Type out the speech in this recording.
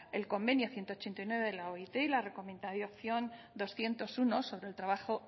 el convenio ciento ochenta y nueve de la oit y la recomendación doscientos uno sobre el trabajo